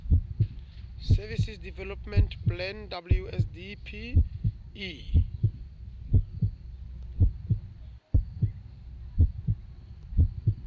services development plan wsdp e